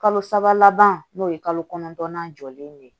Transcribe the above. Kalo saba laban n'o ye kalo kɔnɔntɔnnan jɔlen de ye